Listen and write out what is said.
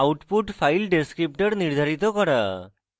output file descriptor নির্ধারিত করা